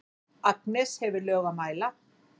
Agnes hefur lög að mæla.